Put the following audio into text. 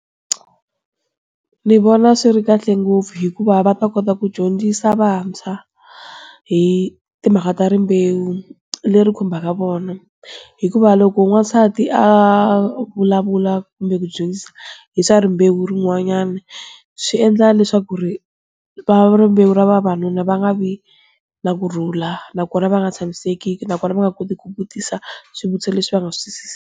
Ndzi vona swi ri kahle ngopfu hikuva va ta kota ku dyondzisa vantshwa, hi timhaka ta rimbewu, leri khumbaka vona. Hikuva loko n'wansati a vulavula kumbe ku dyondzisa hi swa rimbewu rin'wanyana, swi endla leswaku ri, va rimbewu ra vavanuna va nga vi, na kurhula nakona va nga tshamiseki nakona va nga koti ku vutisa swivutiso leswi va nga swi .